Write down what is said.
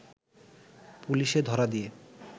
পুলিশে ধরা দিয়ে